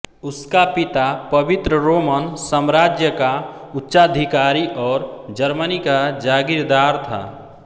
उसका पिता पवित्र रोमन साम्राज्य का उच्चाधिकारी और जर्मनी का जागीरदार था